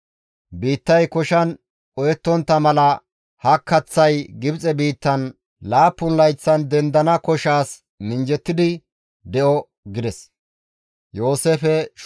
Biittay koshan qohettontta mala ha kaththay Gibxe biittan laappun layththan dendana koshaas minjjettidi de7o» gides.